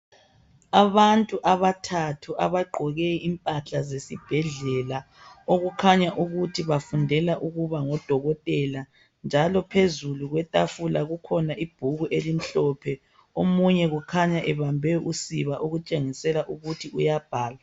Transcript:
Abantu abathathu abagqoke impahla zesibhedlela okukhanya ukuthi bafundela ukuba ngodokotela, njalo phezulu kwetafula kukhona ibhuku elimhlophe. Omunye kukhanya ebambe usiba okutshengisela ukuthi uyabhala.